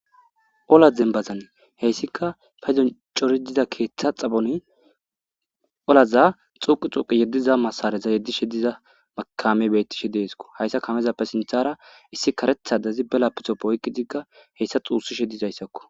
Olla dembazan hayska cori diza ketha xaphoni ollaza xugi xugi diza masaraza yedishe diza kamey betishe aysa kamezape sinthara issi karetha. Lapitope oykidik dhusishe disaysako